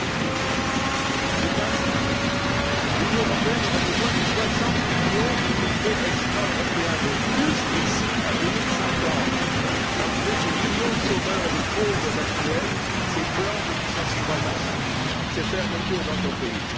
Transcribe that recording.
Busuttil. Les principes? L'Union européenne aurait besoin de 60 millions d'immigrés extra européens de plus d'ici à 2050, malgré ses millions de chômeurs et de pauvres actuels, ses plans de licenciements massifs, ses fermetures d'entreprises.